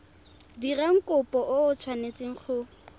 dirang kopo o tshwanetse go